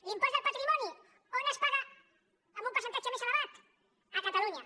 l’impost del patrimoni on es paga en un percentatge més elevat a catalunya